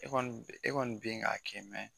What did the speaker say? E kɔni e kɔni bɛ k'a kɛ